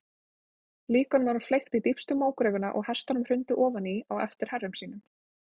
Líkunum var fleygt í dýpstu mógröfina og hestunum hrundið ofan í á eftir herrum sínum.